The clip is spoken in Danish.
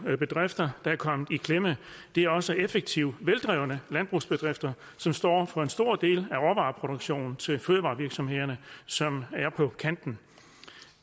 bedrifter der er kommet i klemme det er også effektive og veldrevne landbrugsbedrifter der står for en stor del af råvareproduktionen til fødevarevirksomhederne som er på kanten